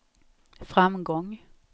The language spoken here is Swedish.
framgång